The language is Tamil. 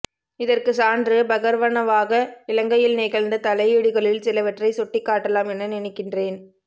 இதற்குச் சான்று பகர்வனவாக இலங்கையில் நிகழ்ந்த தலையீடுகளில் சிலவற்றை சுட்டிக் காட்டலாம் என நினைக்கின்றேன்